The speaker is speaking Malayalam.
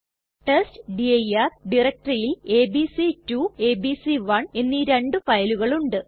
ടെസ്റ്റ്ഡിർ ഡയറക്ടറിയിൽ എബിസി2 എബിസി1 എന്നീ രണ്ടു ഫയലുകൾ ഉണ്ട്